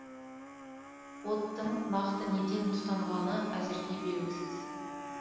оттың нақты неден тұтанғаны әзірге белгісіз